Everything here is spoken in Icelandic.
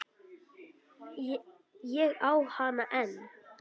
Ég á hana enn.